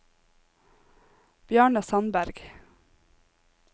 Bjarne Sandberg